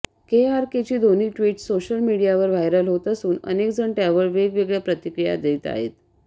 केआरकेची ही दोन्ही tweet social मीडियावर व्हायरल होत असून अनेकजण त्यावर वेगवेगळ्या प्रतिक्रिया देत आहेत